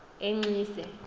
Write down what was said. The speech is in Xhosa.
enxise